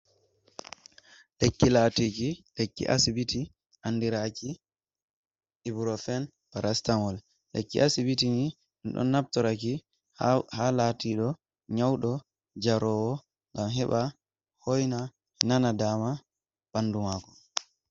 Lekki latiki lekki asbiti andiraki ubrophen parastanwal. lekki asbiti don naftoraki ha latiɗo nyauɗo jarowo ngam heɓa hoina nana daama ɓandu mako.